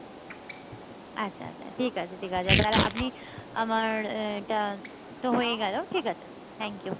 আচ্ছা আচ্ছা ঠিকাছে ঠিকাছে তাহলে আপনি আমার এটা তো হয়েই গেলো ঠিকাছে Thank you